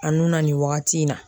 A nun na nin wagati in na